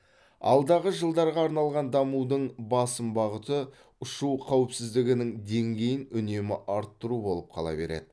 алдағы жылдарға арналған дамудың басым бағыты ұшу қауіпсіздігінің деңгейін үнемі арттыру болып қала береді